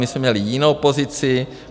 My jsme měli jinou pozici.